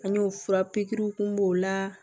An y'o fura pikiriw kun b'o la